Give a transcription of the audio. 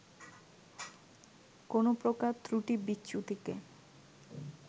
কোনো প্রকার ত্রুটি-বিচ্যুতিকে